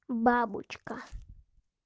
бабочка